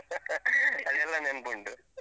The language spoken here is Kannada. ಅದೆಲ್ಲ ನೆನ್ಪುಂಟು.